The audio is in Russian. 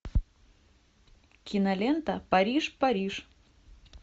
кинолента париж париж